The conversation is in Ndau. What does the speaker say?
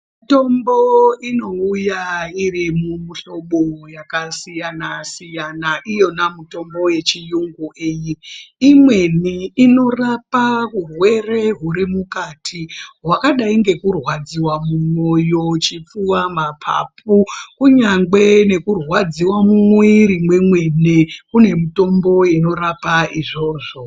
Mitombo inouya iri mumuhlobo yakasiyana siyana iyona mitombo yechiyungu iyi imweni inorapa urwere huri mukati hwakadai ngekurwadziwa mumwoyo, chipfuva ,mapapu kunyangwe nekurwadziwe mumwiiri mwemene kune mitombo inorapa izvozvo.